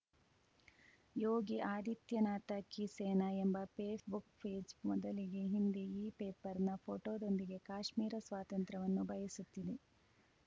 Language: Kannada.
ಯೋಗಿ ಆದಿತ್ಯನಾಥ ಕೀ ಸೇನಾ ಎಂಬ ಫೇಸ್‌ಬುಕ್‌ ಪೇಜ್‌ ಮೊದಲಿಗೆ ಹಿಂದಿ ಇಪೇಪರ್‌ನ ಫೋಟೋದೊಂದಿಗೆ ಕಾಶ್ಮೀರ ಸ್ವಾತಂತ್ರ್ಯವನ್ನು ಬಯಸುತ್ತಿದೆ